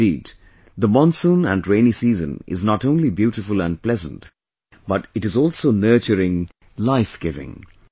Indeed, the monsoon and rainy season is not only beautiful and pleasant, but it is also nurturing, lifegiving